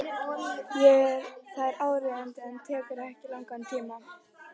Það er áríðandi en tekur ekki langan tíma.